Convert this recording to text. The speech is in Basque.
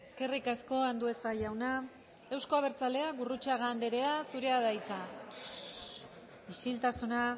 eskerrik asko andueza jauna euzko abertzaleak gurrutxaga andrea zurea da hitza isiltasuna